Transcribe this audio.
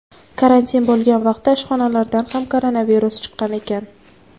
Karantin bo‘lgan vaqtda ishxonalaridan ham koronavirus chiqqan ekan.